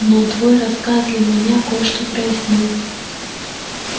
но твой рассказ для меня кое-что прояснил